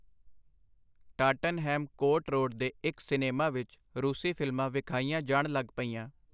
Tottenham Court Road ਦੇ ਇਕ cinema ਵਿਚ ਰੂਸੀ ਫਿਲਮਾਂ ਵਿਖਾਈਆਂ ਜਾਣ ਲੱਗ ਪਈਆਂ.